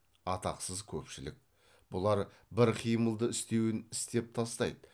атақсыз көпшілік бұлар бір қимылды істеуін істеп тастайды